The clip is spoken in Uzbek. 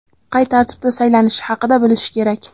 qay tartibda saylanishi haqida bilishi kerak.